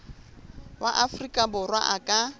wa afrika borwa a ka